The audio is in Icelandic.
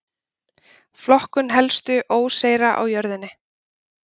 flokkun helstu óseyra á jörðinni